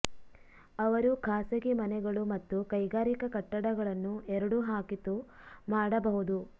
ಅವರು ಖಾಸಗಿ ಮನೆಗಳು ಮತ್ತು ಕೈಗಾರಿಕಾ ಕಟ್ಟಡಗಳನ್ನು ಎರಡೂ ಹಾಕಿತು ಮಾಡಬಹುದು